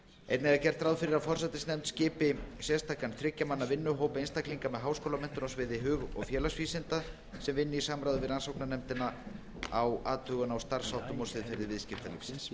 einnig er gert ráð fyrir að forsætisnefnd skipi sérstakan þriggja manna vinnuhóp einstaklinga með háskólamenntun á sviði hug og félagsvísinda sem vinni í samráði við rannsóknarnefndina að athugun á starfsháttum og siðferði viðskiptalífsins